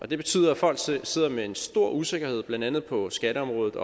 det betyder at folk sidder med en stor usikkerhed om blandt andet på skatteområdet